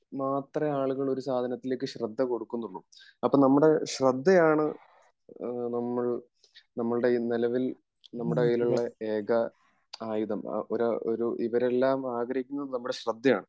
മാത്രേ ആളുകൾ ഒരു സാധനത്തിലേക് ശ്രദ്ധ കൊടുക്കുന്നോള്ളൂ അപ്പൊ നമ്മുടെ ശ്രദ്ധയാണ് നമ്മൾ നമ്മുടെ നിലവിൽ നമ്മുടെ കയ്യിൽ ഉള്ള ഏക ആയുധം ഒരു ഒരു ഇവരെല്ലാം ആഗ്രഹിക്കുന്നത് നമ്മുടെ ശ്രദ്ധയാണ്